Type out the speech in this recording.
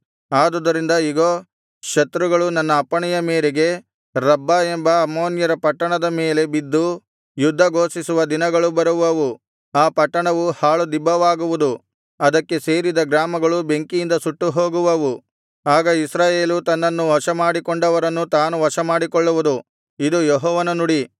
ಆದುದರಿಂದ ಇಗೋ ಶತ್ರುಗಳು ನನ್ನ ಅಪ್ಪಣೆಯ ಮೇರೆಗೆ ರಬ್ಬಾ ಎಂಬ ಅಮ್ಮೋನ್ಯರ ಪಟ್ಟಣದ ಮೇಲೆ ಬಿದ್ದು ಯುದ್ಧ ಘೋಷಿಸುವ ದಿನಗಳು ಬರುವವು ಆ ಪಟ್ಟಣವು ಹಾಳುದಿಬ್ಬವಾಗುವುದು ಅದಕ್ಕೆ ಸೇರಿದ ಗ್ರಾಮಗಳು ಬೆಂಕಿಯಿಂದ ಸುಟ್ಟುಹೋಗುವವು ಆಗ ಇಸ್ರಾಯೇಲು ತನ್ನನ್ನು ವಶಮಾಡಿಕೊಂಡವರನ್ನು ತಾನು ವಶಮಾಡಿಕೊಳ್ಳುವುದು ಇದು ಯೆಹೋವನ ನುಡಿ